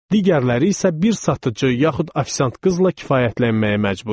Digərləri isə bir satıcı, yaxud ofisiant qızla kifayətlənməyə məcbur idi.